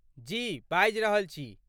जी, बाजि रहल छी।